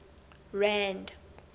rand